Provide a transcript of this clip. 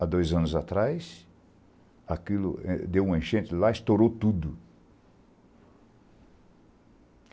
Há dois anos atrás, aquilo deu uma enchente lá, estourou tudo.